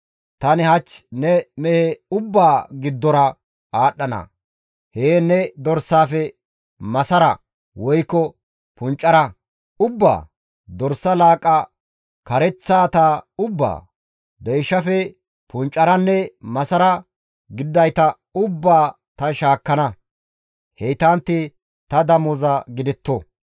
Tani hach ne mehe ubbaa giddora aadhdhana; heen ne dorsaafe masara woykko puncara ubbaa, dorsa laaqqa kareththata ubbaa, deyshafe puncaranne masara gididayta ubbaa ta shaakkana; heytantti ta damoza gidetto.